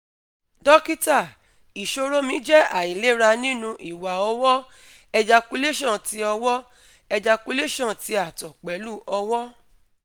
Dokita isoro mi jẹ ailera nitori "Iwa ọwọ", ejaculation ti ọwọ", ejaculation ti ato pẹlu ọwọ